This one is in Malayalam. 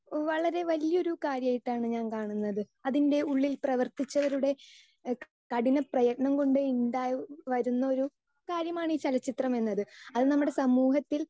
സ്പീക്കർ 2 വളരെ വലിയൊരു കാര്യം ആയിട്ടാണ് ഞാൻ കാണുന്നത്. അതിൻറെ ഉള്ളിൽ പ്രവർത്തിച്ചവരുടെ കഠിന പ്രയത്നം കൊണ്ട് ഉണ്ടായി വരുന്ന ഒരു കാര്യമാണ് ഈ ചലച്ചിത്രം എന്നത് അത് നമ്മുടെ സമൂഹത്തിൽ